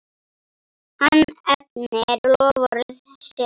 Hann efnir loforð sitt.